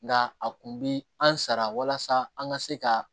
Nka a kun bi an sara walasa an ka se ka